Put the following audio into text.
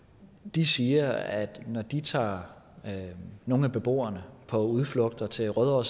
de siger at når de tager nogle af beboerne på udflugter til rødovre